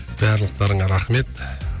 барлықтарыңа рахмет